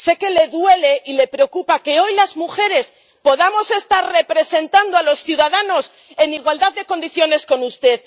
Sé que le duele y le preocupa que hoy las mujeres podamos estar representando a los ciudadanos en igualdad de condiciones con usted.